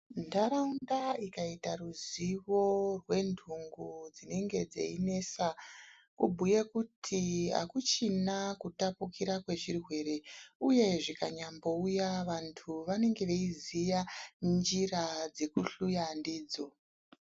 Ntaraunda ikaita ruzivo rwendhungu dzinenge dzeinesa kubhuya kuti akuchina kutapukira kwechirwere, uye zvikanyambouya vanthu vanenge veiziya njira dzekuhluya ndidzo.